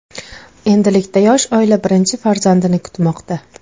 Endilikda yosh oila birinchi farzandini kutmoqda.